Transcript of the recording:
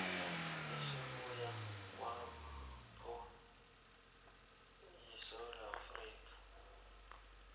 esibuya kwanppo yesewula